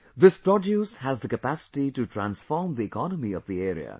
This produce has the capacity to transform the economy of the area